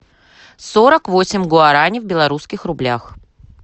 сорок восемь гуарани в белорусских рублях